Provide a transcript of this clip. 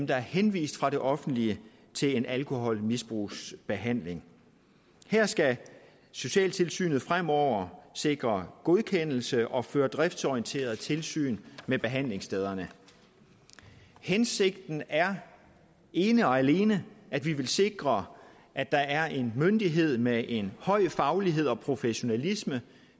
der er henvist fra det offentlige til alkoholmisbrugsbehandling her skal socialtilsynet fremover sikre godkendelse og føre driftsorienteret tilsyn med behandlingsstederne hensigten er ene og alene at vi vil sikre at der er en myndighed med en høj faglighed og professionalisme